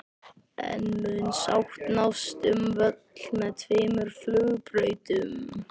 En mun sátt nást um völl með tveimur flugbrautum?